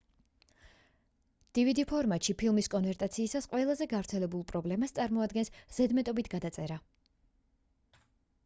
dvd ფორმატში ფილმის კონვერტაციისას ყველაზე გავრცელებულ პრობლემას წარმოადგენს ზედმეტობით გადაწერა